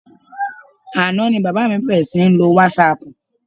Àná ni bàbá mi bẹ̀rẹ̀ sí ní lo wásaàpù.